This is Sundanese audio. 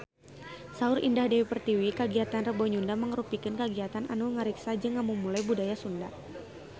Saur Indah Dewi Pertiwi kagiatan Rebo Nyunda mangrupikeun kagiatan anu ngariksa jeung ngamumule budaya Sunda